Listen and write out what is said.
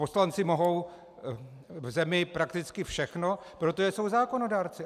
Poslanci mohou v zemi prakticky všechno, protože jsou zákonodárci.